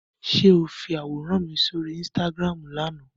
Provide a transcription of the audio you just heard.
Ṣé o fi àwòrán mi sóri Instagram lánàá ni?